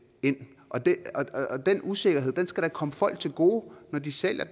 ind og den usikkerhed skal da komme folk til gode når de sælger